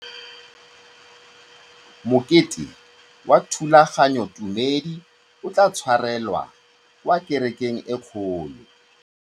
Mokete wa thulaganyôtumêdi o tla tshwarelwa kwa kerekeng e kgolo.